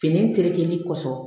Fini terekelen kɔsɔn